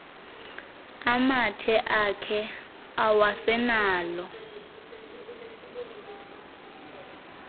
amathe akhe awasenalo